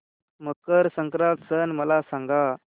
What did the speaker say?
मकर संक्रांत सण मला सांगा